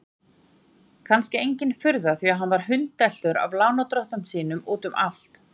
Kannski engin furða því að hann var hundeltur af lánardrottnum sínum út um allt.